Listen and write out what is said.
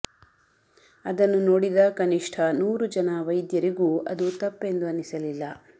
ಅದನ್ನು ನೋಡಿದ ಕನಿಷ್ಠ ನೂರು ಜನ ವೈದ್ಯರಿಗೂ ಅದು ತಪ್ಪೆಂದು ಅನಿಸಲಿಲ್ಲ